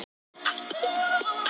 Hann er sýknunni feginn.